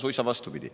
Suisa vastupidi.